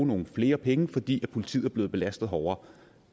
nogle flere penge fordi politiet er blevet belastet hårdere